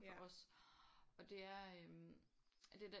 For os og det er øh det der